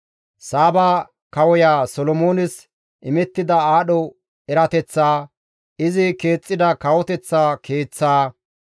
Saaba kawoya Solomoones imettida aadho erateththaa, izi keexxida kawoteththa keeththaa,